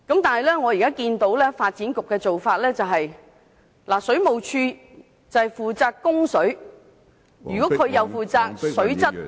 但是，目前發展局的做法，是由水務署負責供水，如水務署同時負責水質......